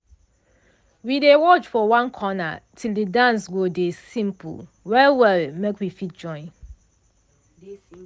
de oga wey dey teach us show us de ballroom moves before de music start to dey play.